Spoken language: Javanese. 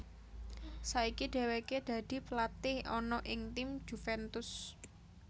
Saiki dheweke dadi pelatih ana ing tim Juventus